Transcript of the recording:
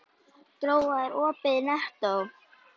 Gróa, er opið í Nettó?